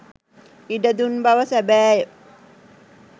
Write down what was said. ඉඩ දුන් බව සැබෑය.